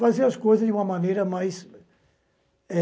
Fazer as coisas de uma maneira mais